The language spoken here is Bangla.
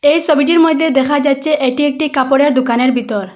এই সবিটির মইদ্যে দেখা যাচ্ছে এটি একটি কাপড়ের দুকানের বিতর।